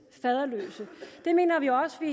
faderløse det mener